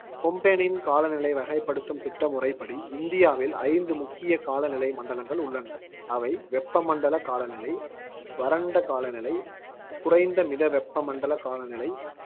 கொப்பெனின் காலநிலை வகைப்படுத்தும் திட்டமுறைப்படி இந்தியாவில் ஐந்து முக்கிய காலநிலை மண்டலங்கள் உள்ளன. அவை, வெப்பமண்டல காலநிலை, வறண்ட காலநிலை, குறைந்த மித வெப்பமண்டல காலநிலை,